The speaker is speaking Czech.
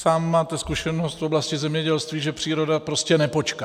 Sám máte zkušenost z oblasti zemědělství, že příroda prostě nepočká.